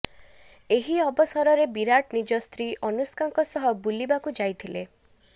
ଏହି ଅବସରରେ ବିରାଟ ନିଜ ସ୍ତ୍ରୀ ଅନୁଷ୍କାଙ୍କ ସହ ବୁଲିବାକୁ ଯାଇଥିଲେ